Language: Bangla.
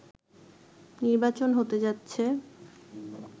নির্বাচন হতে যাচ্ছে